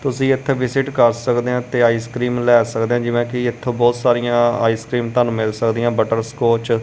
ਤੁਸੀਂ ਇਥੇ ਵਿਜਿਟ ਕਰ ਸਕਦੇ ਆ ਤੇ ਆਈਸਕ੍ਰੀਮ ਲੈ ਸਕਦੇ ਜਿਵੇਂ ਕਿ ਇਥੋਂ ਬਹੁਤ ਸਾਰੀਆਂ ਆਈਸਕ੍ਰੀਮ ਤੁਹਾਨੂੰ ਮਿਲ ਸਕਦੀਆਂ ਬਟਰ ਸਕੋਚ --